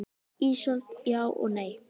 Ísold: Já og nei.